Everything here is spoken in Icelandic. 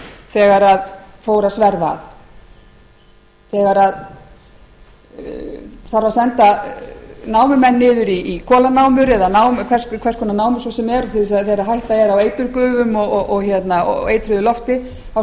þegar fór að sverfa að þegar hann fór að senda námumenn niður í kolanámur eða hvers konar námur svo sem er þar sem hætta er á eiturgufum og eitruðu lofti þá